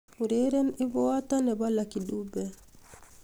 ureren ebuatan nepo lucky dube